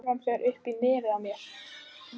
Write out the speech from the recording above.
Gufan fer upp í nefið á mér.